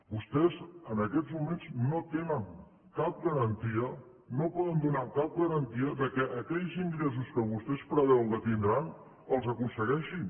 vostès en aquests moments no tenen cap garantia no poden donar cap garantia que aquells ingressos que vostès preveuen que tindran els aconsegueixin